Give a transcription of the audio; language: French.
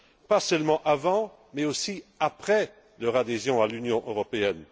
pas seulement avant mais, aussi, après leur adhésion à l'Union européenne.